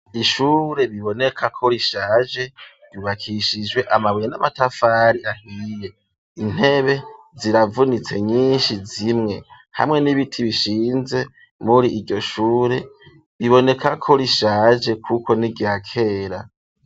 Ishure, biboneka ko, rishaje; ryubakishijwe amabuye, n'amatafari ahiye, intebe ziravunitse nyinshi, zimwe; hamwe n'ibiti bishinze, muri iryo shure, biboneka ko rishaje, kuko ni irya kera.